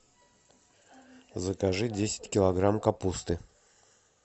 закажи десять килограмм капусты